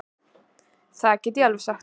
Það get ég alveg sagt þér.